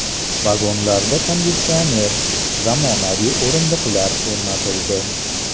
Vagonlarga konditsioner, zamonaviy o‘rindiqlar o‘rnatildi.